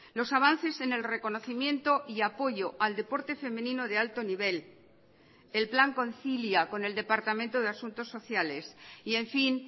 los avances en el reconocimiento y apoyo al deporte femenino de alto nivel el plan concilia con el departamento de asuntos sociales y en fin